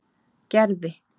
Gerði